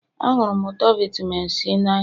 Ahụrụ m ụtọ vitamin C n'anya